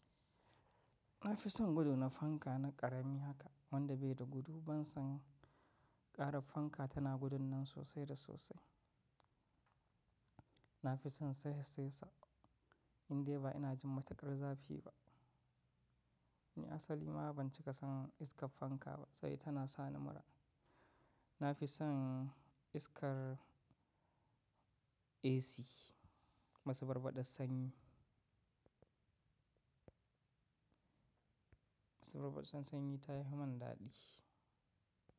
Nafi son gudu na fanka na ƙarami haka wanda bai da gudu ban san ƙarar fanka tana gudun nan sosai da sosai. Nafi son sesasesa indai ba ina jin matukar zafi ba. Ni asali ma ban cika son iskar fanka ba sabida tana sa ni mura. Nafi son iskar AC masuburbudar sanyi. Masuburbudar sanyi tafi mani daɗi.